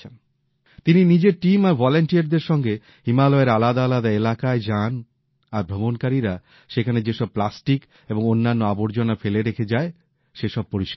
তিনি নিজের টীম আর স্বেচ্ছাসেবকদের সঙ্গে হিমালয়ের আলাদা আলাদা এলাকায় যানআর ভ্রমণকারীরা সেখানে যেসব প্লাস্টিক ও অন্যান্য আবর্জনা ফেলে রেখে যায় সেসব পরিষ্কার করেন